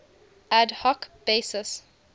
ad hoc basis